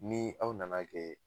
Ni aw nana kɛ